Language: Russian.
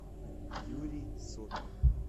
юрий сопин